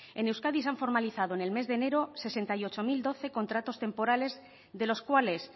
en euskadi se han formalizado en el mes de enero sesenta y ocho mil doce contratos temporales de los cuales